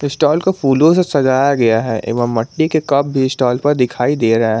stall को फूलों से सजाया गया है एवं मिट्टी के कप स्टॉल पर दिखाई दे रहा--